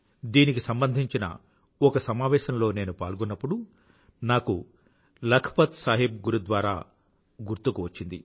దీనికి సంబంధించిన ఒక సమావేశం లో నేను పాల్గొన్నప్పుడు నాకు లఖ్ పత్ సాహిబ్ గురుద్వారా గుర్తుకు వచ్చింది